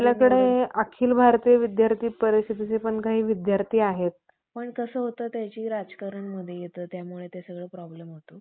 येथील कित्येक बुद्धिमान बळींनी त्या घरकुंड्यातील पोरीसोरींच्या लडक्या मुडक्या खेळनीची बरीच दाणादाण केली. म्हणजे